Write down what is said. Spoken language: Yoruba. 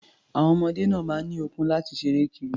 Àwon ọmọdé náà máa ń ní okun láti ṣeré kiri.